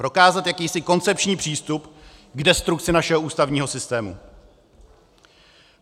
Prokázat jakýsi koncepční přístup k destrukci našeho ústavního systému.